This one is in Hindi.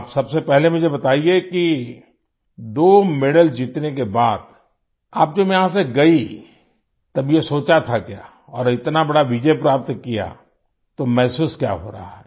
आप सबसे पहले मुझे बताइए कि दो मेडल जीतने के बाद आप जब यहाँ से गई तब ये सोचा था क्या और इतना बड़ा विजय प्राप्त किया तो महसूस क्या हो रहा है